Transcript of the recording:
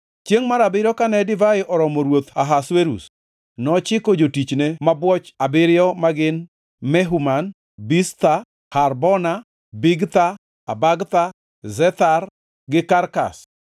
Chiengʼ mar abiriyo kane divai oromo ruoth Ahasuerus nochiko jotichne mabwoch abiriyo magin Mehuman, Biztha, Harbona, Bigtha, Abagtha, Zethar gi Karkas,